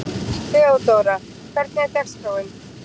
Þeódóra, hvernig er dagskráin?